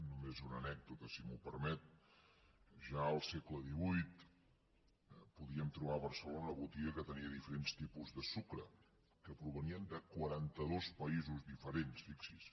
només una anècdota si m’ho permet ja al segle xviii podíem trobar a barcelona una botiga que tenia diferents tipus de sucre que provenien de quaranta dos països diferents fixi’s